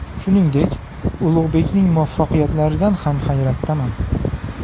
Shuningdek, Ulug‘bekning muvaffaqiyatlaridan ham hayratdaman.